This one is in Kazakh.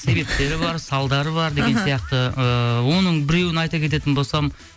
себептері бар салдары бар деген сияқты ыыы оның біреуін айта кететін болсам